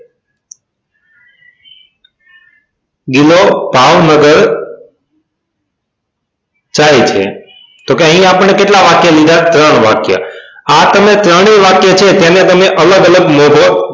ગિલો ભાવનગર જાય છે તો અહિયાં આપણને કેટલા વાક્ય લીધા ત્રણ વાક્ય આ તમે ત્રણેય વાક્ય છે તેને તમે અલગ અલગ લખો